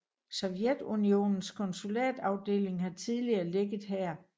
Sovjetunionens konsulatsafdeling har tidligere ligget her